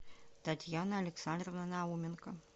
татьяна александровна науменко